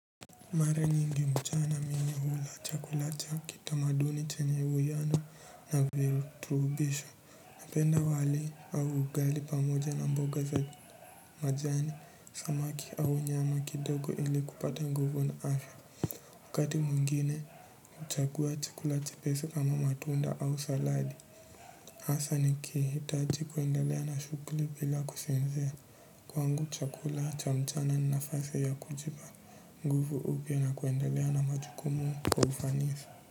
Mara nyingi mchana mi hula chakula cha kitamaduni chenye uwiano na virutubisho napenda wali au ugali pamoja na mboga za majani samaki au nyama kidogo ili kupata nguvu na afya wakati mwingine chakua chakula chepesi kama matunda au saladi asa nikihitaji kuendalea na shuguli bila kusinzia kwangu chakula cha mchana ni nafasi ya kujipa nguvu upya na kuendelea na majukumu kwa ufanisi.